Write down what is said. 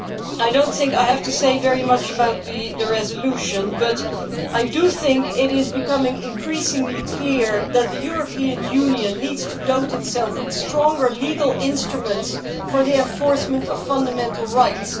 I do not have much to say about the resolution, but I think it is becoming increasingly clear that the European Union needs to equip itself with stronger legal instruments for the enforcement of fundamental rights.